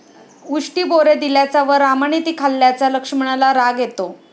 उष्टी बोरे दिल्याचा व रामाने ती खाल्ल्याचा लक्ष्मणाला राग येतो.